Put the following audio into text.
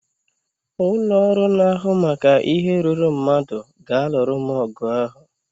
Ụlọ ọrụ na-ahụ maka ihe ruuru mmadụ ga-alụrụ m ọgụ ahụ